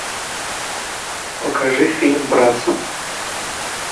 покажи фильм братс